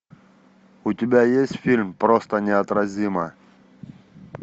у тебя есть фильм просто неотразима